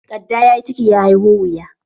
Kadda ya yi ciki, ya haiho wuya.